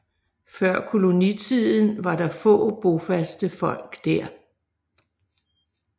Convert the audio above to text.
Før kolonitiden var der få bofaste folk der